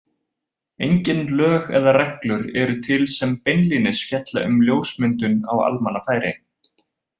Engin lög eða reglur eru til sem beinlínis fjalla um ljósmyndun á almannafæri.